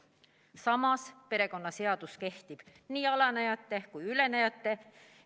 Samas, perekonnaseadus kehtib nii alanejate kui ka ülenejate suhtes.